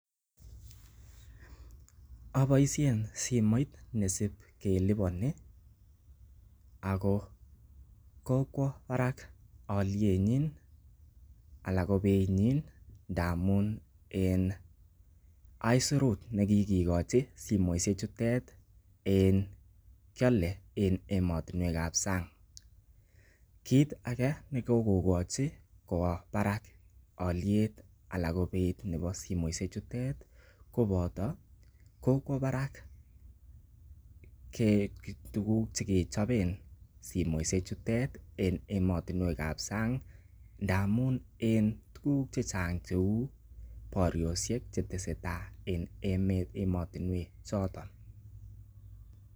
Aboisien simoit nesib keliponi ago kokwo barak olyenyin anan ko beinyin ndamun en aisurut ne kikochi simoishek chutet en kyole en emotinwek ab sang, kit age nekokochi kwa barak olyet anan ko beit nebo simoishek chutet koboto kokwo barak tuguk che kichoben simoishek chutet en emotinwek ab sang, ndamun en tuugk che chang cheu boryosiek che tesetai en emotinwek choton.